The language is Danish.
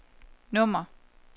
nummer